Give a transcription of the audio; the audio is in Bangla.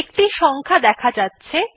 একটি সংখ্যা দেখা যাচ্ছে